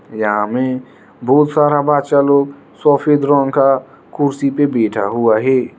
यहां मे बहुत सारा बच्चा लोग सफेद रंग का कुर्सी पे बैठा हुआ है।